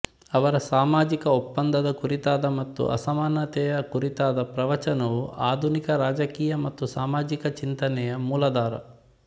ಅವರ ಸಾಮಾಜಿಕ ಒಪ್ಪಂದದ ಕುರಿತಾದ ಮತ್ತು ಅಸಮಾನತೆಯ ಕುರಿತಾದ ಪ್ರವಚನವು ಆಧುನಿಕ ರಾಜಕೀಯ ಮತ್ತು ಸಾಮಾಜಿಕ ಚಿಂತನೆಯ ಮೂಲಾಧಾರ